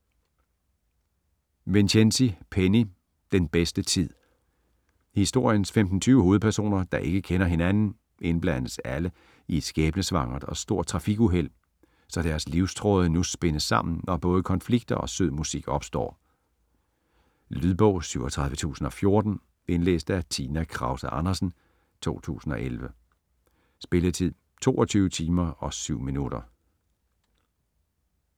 Vincenzi, Penny: Den bedste tid Historiens 15-20 hovedpersoner, der ikke kender hinanden, indblandes alle i et skæbnesvangert og stort trafikuheld, så deres livstråde nu spindes sammen og både konflikter og sød musik opstår. Lydbog 37014 Indlæst af Tina Kruse Andersen, 2011. Spilletid: 22 timer, 7 minutter.